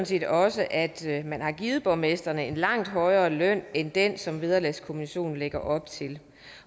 set også at man har givet borgmestrene en langt højere løn end den som vederlagskommissionen lægger op til